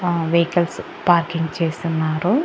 ఆ vehicles parking చేస్తున్నారు.